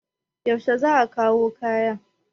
yaushe za a kawo kaya?